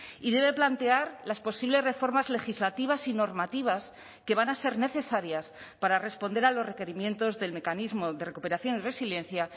y debe plantear las posibles reformas legislativas y normativas que van a ser necesarias para responder a los requerimientos del mecanismo de recuperación y resiliencia